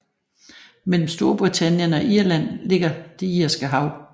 Mellem Storbritannien og Irland ligger Det Irske Hav